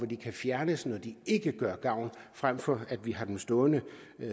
de kan fjernes når de ikke gør gavn frem for at vi har dem stående